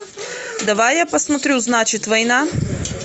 давай я посмотрю значит война